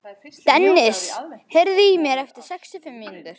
Dennis, heyrðu í mér eftir sextíu og fimm mínútur.